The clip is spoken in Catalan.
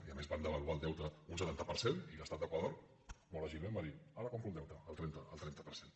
i a més van devaluar el deute un setanta per cent i l’estat d’equador molt àgilment va dir ara compro el deute al trenta per cent